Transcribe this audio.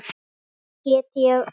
Með þér get ég allt.